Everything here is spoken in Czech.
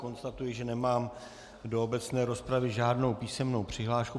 Konstatuji, že nemám do obecné rozpravy žádnou písemnou přihlášku.